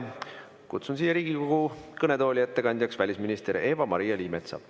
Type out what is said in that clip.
Kutsun Riigikogu kõnetooli ettekandjaks välisminister Eva-Maria Liimetsa.